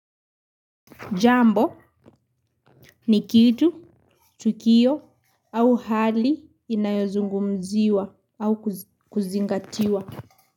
Jambo ni kitu, tukio au hali inayozungumziwa au kuzingatiwa.